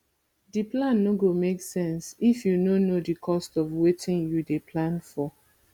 d plan no go make sense if you no know di cost of wetin you dey plan for